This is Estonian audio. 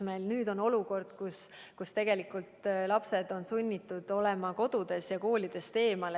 Meil nüüd on olukord, kus lapsed on sunnitud olema kodudes ja koolidest eemal.